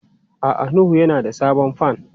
A'a Nuhu yana da sabon fan.